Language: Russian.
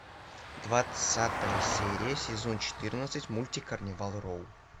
двадцатая серия сезон четырнадцать мультик карнивал роу